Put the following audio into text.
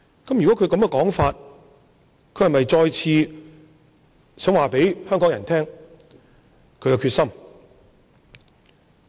根據他這個說法，他是否想再次告訴香港人他的決心。